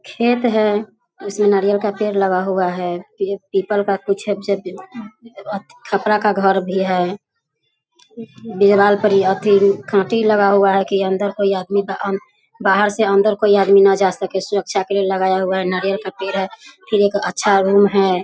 खेत है जिसमें नारियल का पेड़ लगा हुआ है। ये पीपल का कुछ छत छत खपड़ा का घर भी है लगा हुआ है कि अंदर कोई आदमी बाहर से अंदर कोई आदमी न जा सके सुरक्षा के लिए लगाया हुआ है। नारियल का पेड़ है फिर एक अच्छा रूम है।